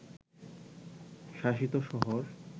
শাসিত শহর